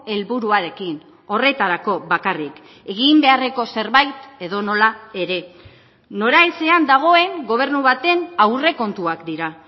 helburuarekin horretarako bakarrik egin beharreko zerbait edonola ere noraezean dagoen gobernu baten aurrekontuak dira